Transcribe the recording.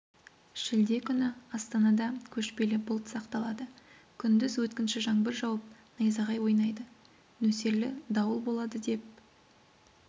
шілде күні астанада көшпелі бұлт сақталады күндіз өткінші жаңбыр жауып найзағай ойнайды нөсерлі дауыл болады деп